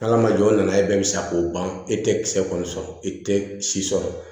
Ala ma jɔ o nana ye bɛɛ bɛ sa k'o ban e tɛ kisɛ kɔni sɔrɔ e tɛ si sɔrɔ